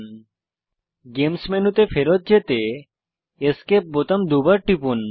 games games মেনুতে ফেরৎ যেতে এসকেপ বোতাম দুবার টিপুন